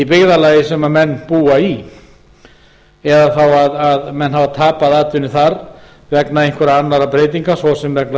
byggðarlagi sem menn búa í eða þá að menn hafa tapað atvinnu þar vegna einhverra annarra breytinga svo sem vegna